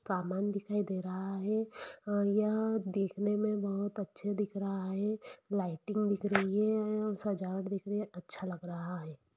सामन दिखाई दे रहा है यह देखने में बहुत अच्छा दिख रहा है लाइटइंग में दिख रही हैसजावट दिख रही हैअच्छा दिख रहा है।